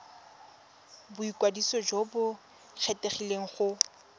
boikwadiso jo bo kgethegileng go